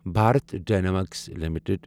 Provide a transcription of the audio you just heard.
Bharat Dynamics limited